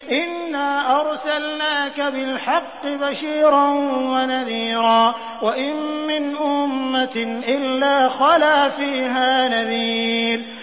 إِنَّا أَرْسَلْنَاكَ بِالْحَقِّ بَشِيرًا وَنَذِيرًا ۚ وَإِن مِّنْ أُمَّةٍ إِلَّا خَلَا فِيهَا نَذِيرٌ